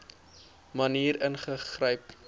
maniere ingegryp